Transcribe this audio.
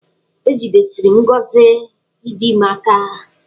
Ejidesiri m ngọzị ịdị ime aka.